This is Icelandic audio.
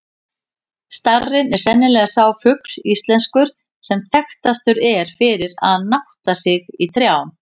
Starinn er sennilega sá fugl íslenskur, sem þekktastur er fyrir að nátta sig í trjám.